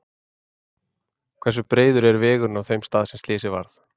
Hversu breiður er vegurinn á þeim stað er slysið varð?